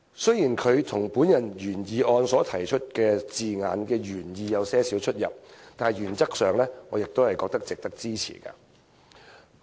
雖然他的修正案與我提出的原議案的字眼原意有輕微差異，但原則上，我亦認為值得支持。